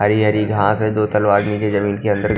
हरी हरी घास है दो तलवार नीचे जमीन के अंदर--